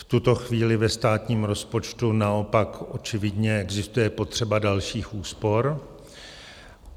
V tuto chvíli ve státním rozpočtu naopak očividně existuje potřeba dalších úspor.